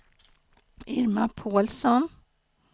Irma Pålsson